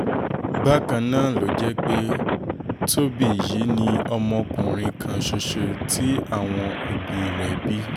bákan náà ló jẹ́ pé tóbì yìí ni ọmọkùnrin kan ṣoṣo tí àwọn òbí rẹ̀ bí bí